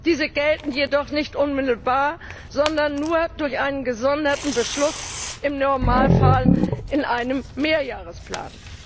diese gelten jedoch nicht unmittelbar, sondern nur durch einen gesonderten Beschluss, im Normalfall in einem Mehrjahresplan.